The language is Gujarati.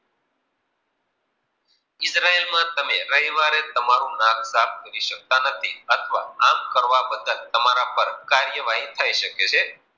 ઈજરાયલમાં રવિવારે તમે રવિવાર તમારુ નાક સાફ કરી શકતા નથી અથવા આમ કરવા બદલ તમારા પર કાર્ય વહી થઈ શકે છે.